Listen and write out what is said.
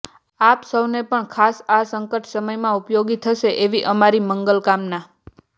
આપ સૌને પણ ખાસ આ સંકટ સમયમાં ઉપયોગી થશે એવી અમારી મંગલકામના